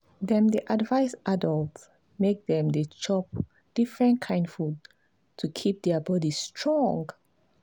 dem dey advise adults make dem chop different kain food to keep their body strong.